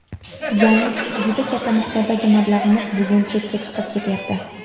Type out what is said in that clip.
Ya’ni juda katta miqdordagi mablag‘imiz bugun chetga chiqib ketyapti.